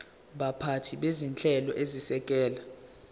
baphathi bezinhlelo ezisekela